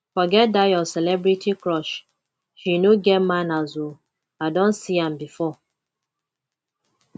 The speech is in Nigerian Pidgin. forget dat your celebrity crush she no get manners oo i don see am before